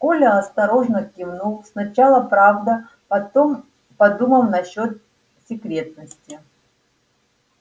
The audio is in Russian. коля осторожно кивнул сначала правда потом подумав насчёт секретности